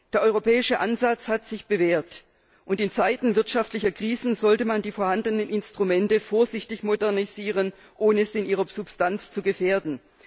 Der europäische Ansatz hat sich bewährt, und in Zeiten wirtschaftlicher Krisen sollte man die vorhandenen Instrumente vorsichtig modernisieren, ohne sie in ihrer Substanz zu gefährden.